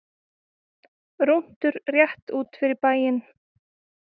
Rúntur rétt út fyrir bæinn.